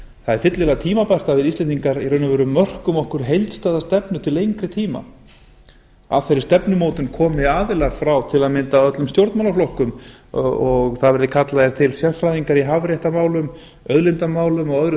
það er fyllilega tímabært að við íslendingar mörkum okkur heildstæða stefnu til lengri tíma að þeirri stefnumótun komi aðilar frá til að mynda öllum stjórnmálaflokkum og það verði kallaðir til sérfræðingar í hafréttarmálum auðlindamálum og öðru